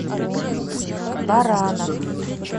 баранов